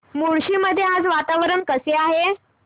मुळशी मध्ये आज वातावरण कसे आहे